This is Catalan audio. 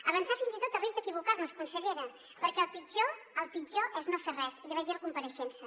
avançar fins i tot a risc d’equivocar nos consellera perquè el pitjor el pitjor és no fer res i l’hi vagi dir a la compareixença